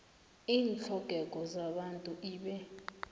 iintlhogeko zabantu ibe